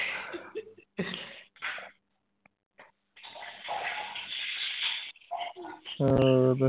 ਹੋਰ